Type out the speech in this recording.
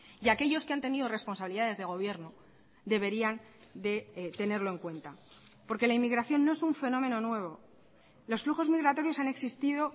y aquellos que han tenido responsabilidades de gobierno deberían de tenerlo en cuenta porque la inmigración no es un fenómeno nuevo los flujos migratorios han existido